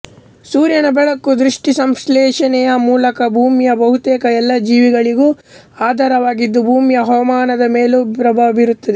ಸೂರ್ಯನ ಬೆಳಕು ದ್ಯುತಿಸಂಶ್ಲೇಷಣೆಯ ಮೂಲಕ ಭೂಮಿಯ ಬಹುತೇಕ ಎಲ್ಲಾ ಜೀವಿಗಳಿಗೂ ಆಧಾರವಾಗಿದ್ದು ಭೂಮಿಯ ಹವಾಮಾನದ ಮೇಲೂ ಪ್ರಭಾವ ಬೀರುತ್ತದೆ